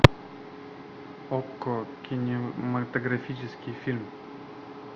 окко кинематографический фильм